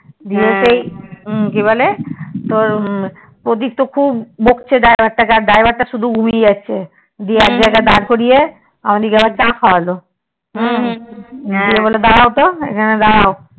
দিয়ে সেই কিবলে প্রতীক তো খুব বকছে driver তা কে আর driver তা ঘুমিয়ে যাচ্ছে গিয়ে একজায়গায় দাঁড়িয়ে আবার চা খাওয়ালো গিয়ে বলে দাড়াও তো এখানে দাড়াও